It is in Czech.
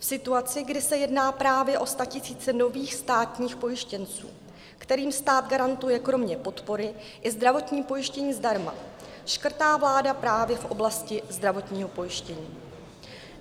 V situaci, kdy se jedná právě o statisíce nových státních pojištěnců, kterým stát garantuje kromě podpory i zdravotní pojištění zdarma, škrtá vláda právě v oblasti zdravotního pojištění.